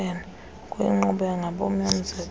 kuyinkqubo yangabom yomzekelo